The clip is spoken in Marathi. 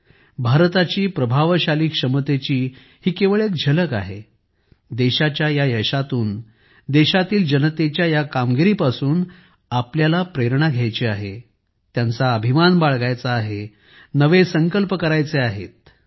भारताची क्षमता किती प्रभावशाली आहे ही याची केवळ एक झलक आहे देशाच्या या यशातून देशातील जनतेच्या या कामगिरीपासून आपल्याला प्रेरणा घ्यायची आहे त्यांचा अभिमान बाळगायचा आहे नवे संकल्प करायचे आहेत